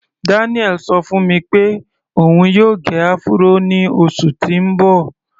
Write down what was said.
Daniel ṣọ fún mi pé òun yóò gẹ áfúró ní oṣù tí ń bọ̀.